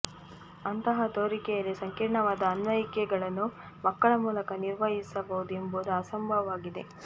ಅಂತಹ ತೋರಿಕೆಯಲ್ಲಿ ಸಂಕೀರ್ಣವಾದ ಅನ್ವಯಿಕೆಗಳನ್ನು ಮಕ್ಕಳ ಮೂಲಕ ನಿರ್ವಹಿಸಬಹುದು ಎಂಬುದು ಅಸಂಭವವಾಗಿದೆ